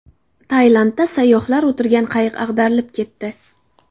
Tailandda sayyohlar o‘tirgan qayiq ag‘darilib ketdi.